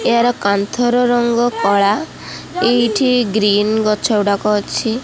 ଏହାର କାନ୍ଥର ରଙ୍ଗ କଳା ଏଇଠି ଗ୍ରୀନ୍ ଗଛ ଗୁଡ଼ାକ ଅଛି।